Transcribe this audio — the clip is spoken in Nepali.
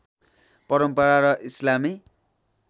परम्परा र इस्लामी